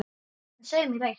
En segðu mér eitt